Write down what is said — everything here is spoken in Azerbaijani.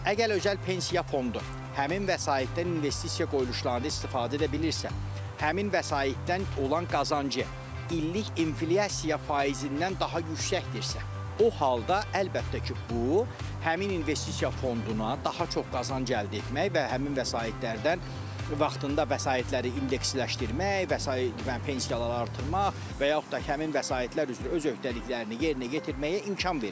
Əgər özəl pensiya fondu həmin vəsaitdən investisiya qoyuluşlarını istifadə edə bilirsə, həmin vəsaitdən olan qazancı illik inflyasiya faizindən daha yüksəkdirsə, o halda əlbəttə ki, bu həmin investisiya fonduna daha çox qazanc əldə etmək və həmin vəsaitlərdən vaxtında vəsaitləri indeksləşdirmək, və pensiyalar artırmaq və yaxud da ki, həmin vəsaitlər üzrə öz öhdəliklərini yerinə yetirməyə imkan verir.